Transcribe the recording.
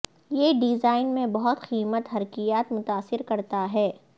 یہ ڈیزائن میں بہت قیمت حرکیات متاثر کرتا ہے